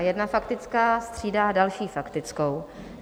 A jedna faktická střídá další faktickou.